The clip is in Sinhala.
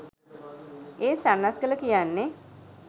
ඒත් සන්නස්ගල කියන්නේ